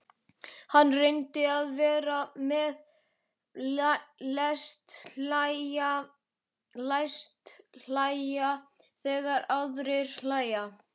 Hann reynir að vera með, læst hlæja þegar aðrir hlæja.